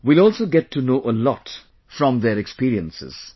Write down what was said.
We will also get to know a lot from their experiences